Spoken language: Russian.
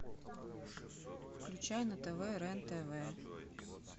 включай на тв рен тв